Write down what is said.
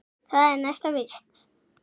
Það er næsta víst.